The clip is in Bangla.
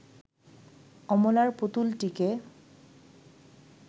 অমলার পুতুলটিকে